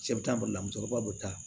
Cɛ bɛ taa boli la musokɔrɔba bɛ taa